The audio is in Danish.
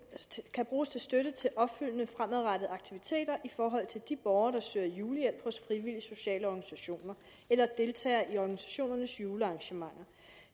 kan bruges til støtte til opfølgende fremadrettede aktiviteter i forhold til de borgere der søger julehjælp hos frivillige sociale organisationer eller deltager i organisationernes julearrangementer